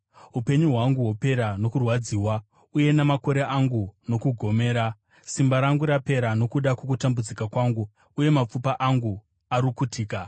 Upenyu hwangu hwopera nokurwadziwa, uye namakore angu nokugomera; simba rangu rapera nokuda kwokutambudzika kwangu, uye mapfupa angu arukutika.